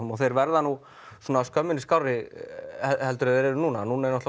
og þeir verða nú skömminni skárri en þeir eru núna núna er